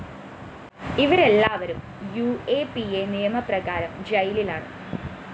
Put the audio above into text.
ഇവരെല്ലാവരും U A P A നിയമപ്രകാരം ജയിലിലാണ്